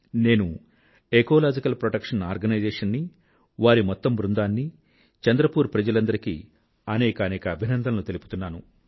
నేను ecological protection organisation నీ వారి మొత్తం బృందాన్నీ చంద్రపూర్ ప్రజలందరికీ అనేకానేక అభినందనలు తెలుపుతున్నాను